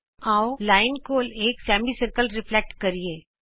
ਆਉ ਰੇਖਾ ਕੋਲ ਇਕ ਅਰਧ ਗੋਲਾ ਪ੍ਰਤਿਬਿੰਬਤ ਕਰੀਏ